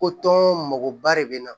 Ko tɔn mɔgɔba de bɛ na